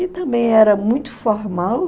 E também era muito formal.